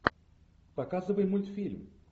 показывай мультфильм